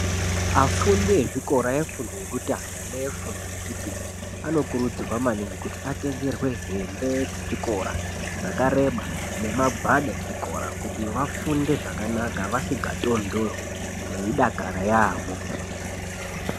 Afundi ezvikora efundo yekutanga nefundo yechipiri anokurudzirwa maningi kuti atengerwe hembe dzechikora dzkareba nemagwada echikora kuti vafunde zvakanaka vasikatonhorwi veidakara yaamho.